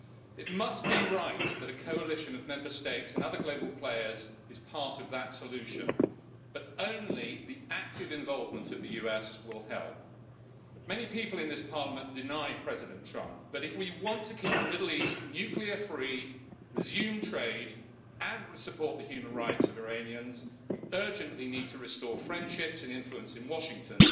It must be right that a coalition of Member States and other global players is part of that solution, but only the active involvement of the US will help. Many people in this Parliament deny President Trump, but if we want to keep the Middle East nuclear free, resume trade and support the human rights of Iranians, we urgently need to restore friendships and influence in Washington,